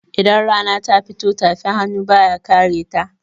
Idan rana ta fito, tafin hannu ba ya kareta.